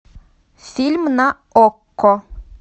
фильм на окко